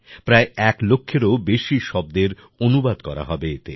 প্রায় এক লক্ষেরও বেশি শব্দের অনুবাদ করা হবে এতে